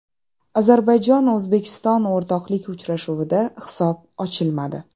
Ozarbayjon O‘zbekiston o‘rtoqlik uchrashuvida hisob ochilmadi.